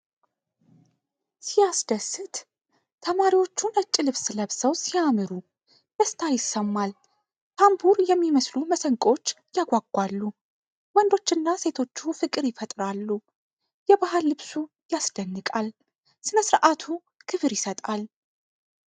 ሲያስደስት! ተማሪዎቹ ነጭ ልብስ ለብሰው ሲያምሩ፣ ደስታ ይሰማል። ታምቡር የሚመስሉ መሰንቆዎች ያጓጓሉ። ወንዶቹና ሴቶቹ ፍቅር ይፈጥራሉ። የባህል ልብሱ ያስደንቃል። ስነስርዓቱ ክብር ይሰጣል።